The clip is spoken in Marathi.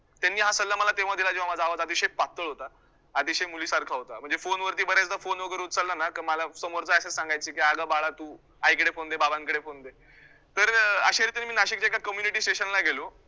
त्यांनी हा सल्ला मला दिला तेव्हा माझा आवाज अतिशय पातळ होता, अतिशय मुलीसारखा होता, म्हणजे phone वरती बऱ्याचदा phone वैगरे उचलला ना का मला समोरचा असे सांगायचे की अगं बाळा तु आईकडे phone दे बाबांकडे phone दे तर अं अश्या रीतीने मी नाशिकच्या एका community station ला गेलो.